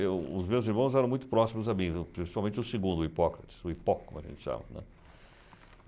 Eu... os meus irmãos eram muito próximos a mim, viu, principalmente o segundo, o Hipócrates, o Hipó como a gente chama, né.